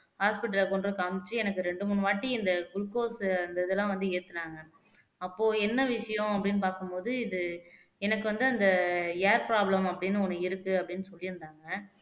hospital ல கொண்டுபோய் காமிச்சு எனக்கு இரண்டு மூணு வாட்டி இந்த glucose அந்த இதெல்லாம் வந்து ஏத்துனாங்க அப்போ என்ன விஷயம் அப்படின்னு பார்க்கும் போது இது இது எனக்கு வந்து அந்த air problem அப்படின்னு ஒண்ணு இருக்கு அப்படின்னு சொல்லி இருந்தாங்க